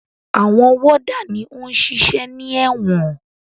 Àwọn wọ́dà ni ó ń ṣiṣẹ́ ní ẹ̀wọ̀n.